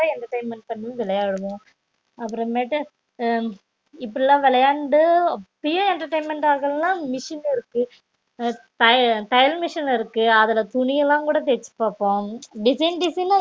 entertainment பண்ணி விளையாடுவோம் அப்பறம் மேட்டு உம் இப்டிலாம் விளையாண்டு அப்பையும் entertainment ஆகலான machine இருக்கு தைய தையல் machine இருக்கு அதுல துணியல்லாம் கூட தச்சி பாப்போம் design design அ